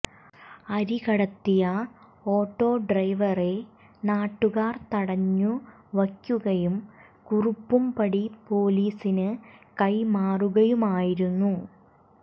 അരി കടത്തിയ ഓട്ടോ ഡ്രൈവറെ നാട്ടുകാർ തടഞ്ഞു വയ്ക്കുകയും കുറുപ്പുംപടി പൊലീസിനു കൈമാറുകയുമായിരുന്നു